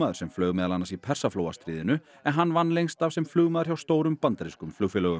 sem flaug meðal annars í Persaflóastríðinu en hann vann lengst af sem flugmaður hjá stórum bandarískum flugfélögum